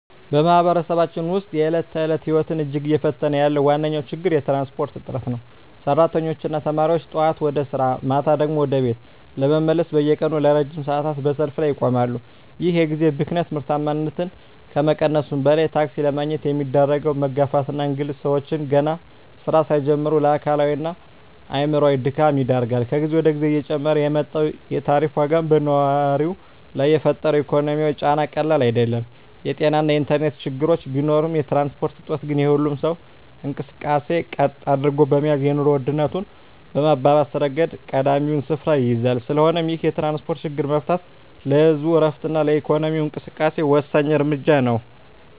በማኅበረሰባችን ውስጥ የዕለት ተዕለት ሕይወትን እጅግ እየፈተነ ያለው ዋነኛው ችግር የትራንስፖርት እጥረት ነው። ሠራተኞችና ተማሪዎች ጠዋት ወደ ሥራ፣ ማታ ደግሞ ወደ ቤት ለመመለስ በየቀኑ ለረጅም ሰዓታት በሰልፍ ላይ ይቆማሉ። ይህ የጊዜ ብክነት ምርታማነትን ከመቀነሱም በላይ፣ ታክሲ ለማግኘት የሚደረገው መጋፋትና እንግልት ሰዎችን ገና ሥራ ሳይጀምሩ ለአካላዊና አእምሮአዊ ድካም ይዳርጋል። ከጊዜ ወደ ጊዜ እየጨመረ የመጣው የታሪፍ ዋጋም በነዋሪው ላይ የፈጠረው ኢኮኖሚያዊ ጫና ቀላል አይደለም። የጤናና የኢንተርኔት ችግሮች ቢኖሩም፣ የትራንስፖርት እጦት ግን የሁሉንም ሰው እንቅስቃሴ ቀጥ አድርጎ በመያዝ የኑሮ ውድነቱን በማባባስ ረገድ ቀዳሚውን ስፍራ ይይዛል። ስለሆነም ይህንን የትራንስፖርት ችግር መፍታት ለህዝቡ ዕረፍትና ለኢኮኖሚው እንቅስቃሴ ወሳኝ እርምጃ ነው።